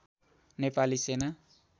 नेपाली सेना